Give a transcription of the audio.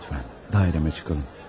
Lütfən dairəmə çıxalım.